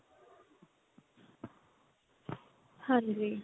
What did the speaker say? ਹਾਂਜੀ